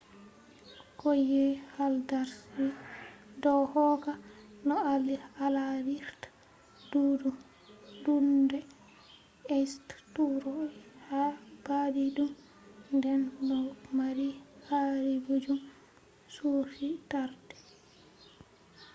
kauye haldarsvik do hokka no alarirta duunde eysturoy ha baadidum nden do mari garibiijum churchi taarde